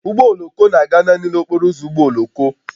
Ụgbọ oloko na-aga naanị n'okporo ụzọ ụgbọ oloko